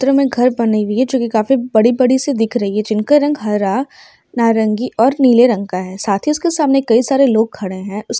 जो मे घर बनी हुई है जो काफी बडी -बडी सी दिख रही है जिनका रंग हरा नारंगी और नीले रंग का है| साथ ही उसके सामने कई सारे लोग खडे हुए है ।